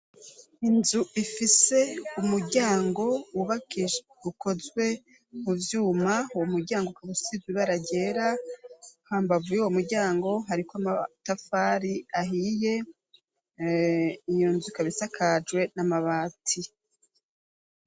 Inzu ifise umuryango wubakishe ukozwe mu vyuma wo muryango ku gusiz bararyera hambavuy' uwo muryango hariko amatafari ahiye inyunzuka bisakajwe n'amabati.